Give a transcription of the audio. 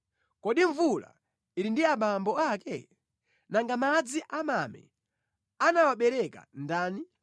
Kodi mvula ili ndi abambo ake? Nanga madzi a mame anawabereka ndani?